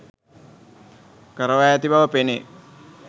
කරවා ඇති බව පෙනේ.